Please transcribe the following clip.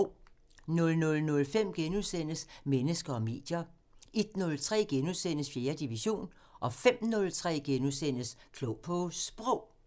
00:05: Mennesker og medier * 01:03: 4. division * 05:03: Klog på Sprog *